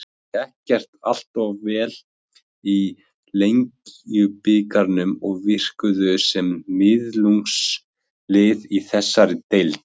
Þeim gekk ekkert alltof vel í Lengjubikarnum og virkuðu sem miðlungslið í þessari deild.